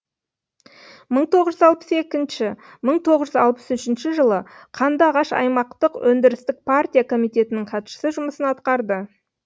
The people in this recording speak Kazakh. мың тоғызз жүз алпыс екінші мың тоғыз жүз алпыс үшінші жылы қандыағаш аймақтық өндірістік партия комитетінің хатшысы жұмысын атқарды